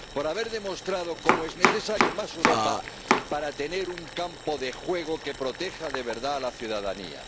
por haber demostrado cómo es necesario más Europa para tener un campo de juego que proteja de verdad a la ciudadanía.